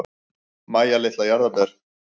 Mæja litla jarðarber.